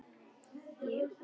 Ég á út, sagði Björn.